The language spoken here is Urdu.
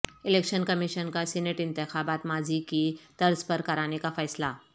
الیکشن کمیشن کا سینیٹ انتخابات ماضی کی طرز پر کرانے کا فیصلہ